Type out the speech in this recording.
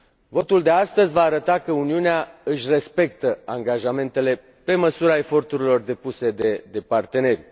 Votul de astăzi va arăta că Uniunea își respectă angajamentele pe măsura eforturilor depuse de parteneri.